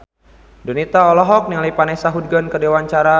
Donita olohok ningali Vanessa Hudgens keur diwawancara